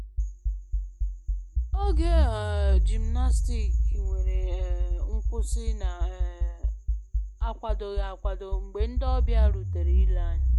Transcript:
Oge um gymnastic nwere um nkwụsị na um akwadoghi akwado mgbe ndi ọbịa rutere ile anya